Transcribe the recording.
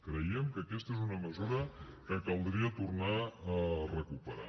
creiem que aquesta és una mesura que caldria tornar a recuperar